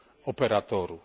operatorów.